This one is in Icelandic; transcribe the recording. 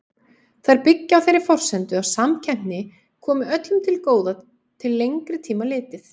Þær byggja á þeirri forsendu að samkeppni komi öllum til góða til lengri tíma litið.